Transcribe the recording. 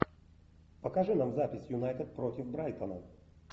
покажи нам запись юнайтед против брайтона